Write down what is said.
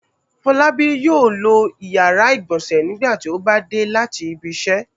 Fọlábí yóò lo ìyàrá-ìgbọ̀nsẹ̀ nígbà tí ó bá dé láti ibiṣẹ́.